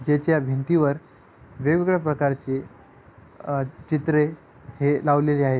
जेच्या भिंतीवर वेगवेगळ्या प्रकारची अ चित्रे हे लावलेली आहेत.